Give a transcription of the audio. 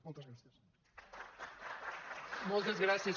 moltes gràcies